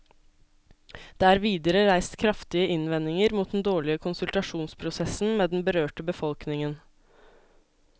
Det er videre reist kraftige innvendinger mot den dårlige konsultasjonsprosessen med den berørte befolkningen.